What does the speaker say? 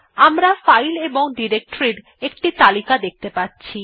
আমরা ফাইল এবং ডিরেক্টরীর একটি তালিকা দেখতে পাচ্ছি